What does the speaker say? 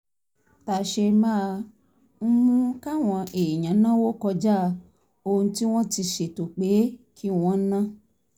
tà ṣe máa ń mú káwọn èèyàn náwó kọjá ohun tí wọ́n ti ṣètò pé kí wọ́n ná